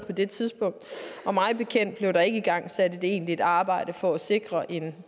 på det tidspunkt og mig bekendt blev der ikke igangsat et egentligt arbejde for at sikre en